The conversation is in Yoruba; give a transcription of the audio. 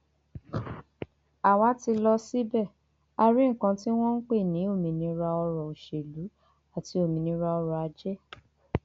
àwa ti lọ síbẹ a a rí nǹkan tí wọn ń pè ní òmìnira ọrọ òṣèlú àti òmìnira ọrọ ajé